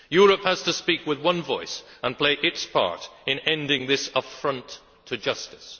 Europe has to speak with one voice and play its part in ending this affront to justice.